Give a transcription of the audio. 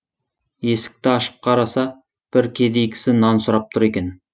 есікті ашып қараса бір кедей кісі нан сұрап тұр екен